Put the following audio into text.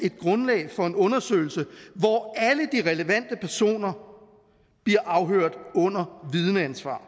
et grundlag for en undersøgelse hvor alle de relevante personer bliver afhørt under vidneansvar